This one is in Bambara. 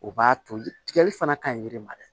O b'a to jili fana ka ɲi yiri ma dɛ